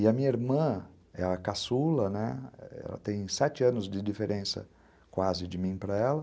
E a minha irmã é a caçula, né, ela tem sete anos de diferença quase de mim para ela,